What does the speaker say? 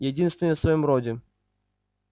единственный в своём роде